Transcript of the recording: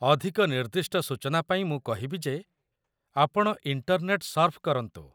ଅଧିକ ନିର୍ଦ୍ଦିଷ୍ଟ ସୂଚନା ପାଇଁ ମୁଁ କହିବି ଯେ ଆପଣ ଇଣ୍ଟରନେଟ୍‌ ସର୍ଫ୍ କରନ୍ତୁ।